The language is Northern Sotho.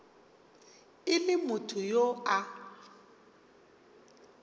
e le motho yo a